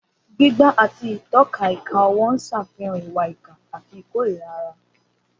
Gbígbá àti ìtọ́ka ìka ọwọ́ ń ṣàfihàn ìwà ìkà àti ìkórìíra ara.